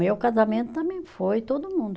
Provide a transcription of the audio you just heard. Meu casamento também foi, todo mundo.